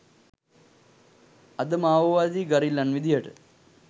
අද මාඕවාදී ගරිල්ලන් විදියට